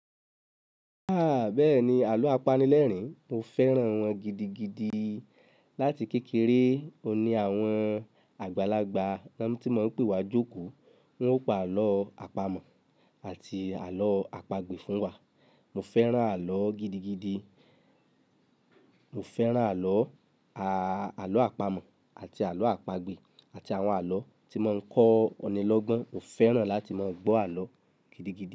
Aah bẹ́ẹ̀ni, àlọ́ apanilẹ́rìn, mo fẹ́ràn wọn gidigidi. Láti kékeré, òun ní àwọn àgbàlagbà tan ti maa ń pè wa jókòó, wọ́n o pa àlọ́ àpamọ̀ àti àlọ́ àpagbè fún wa. Mo fẹ́ràn àlọ́ gidigidi. Mo fẹ́ràn àlọ́, àlọ́ àpamọ̀ àti àlọ́ àpagbè àti àwọn àlọ́ tí maa ń kọ́ ọ̀ní lọ́gbọ́n. Mo fẹ́ràn láti máa gbọ́ àlọ́ gidigidi.